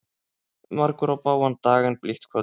Margur á bágan dag en blítt kvöld.